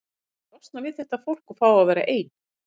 Ég vildi losna við þetta fólk og fá að vera ein.